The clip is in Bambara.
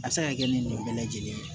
A bɛ se ka kɛ ni mɔgɔ bɛɛ lajɛlen ye